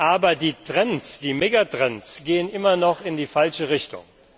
Aber die Trends, die Megatrends gehen immer noch in die falsche Richtung.